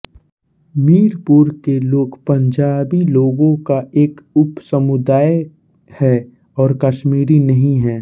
मीरपुर के लोग पंजाबी लोगों का एक उपसमुदाय हैं और कश्मीरी नहीं हैं